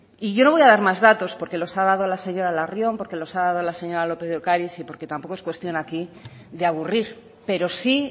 y yo no voy a dar más datos porque los ha dado la señora larrion porque los ha dado la señora lópez de ocariz y porque tampoco es cuestión aquí de aburrir pero sí